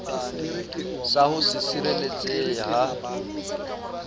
sa ho se sireletsehe ha